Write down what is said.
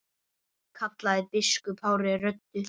kallaði biskup hárri röddu.